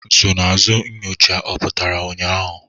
Nsonaazụ nyocha a pụtara ụnyaahụ?